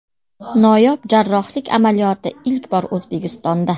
Noyob jarrohlik amaliyoti ilk bor O‘zbekistonda.